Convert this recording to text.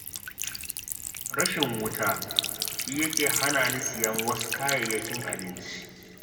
Rashin wuta shi yake hana ni siyan wasu kayayyakin abinci